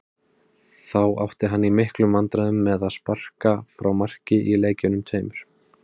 Þá átti hann í miklum vandræðum með að sparka frá marki í leikjunum tveimur.